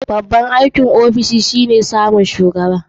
Babban aikin ofishi shine samun shugaba.